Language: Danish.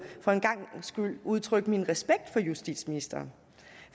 for en gangs skyld udtrykke min respekt for justitsministeren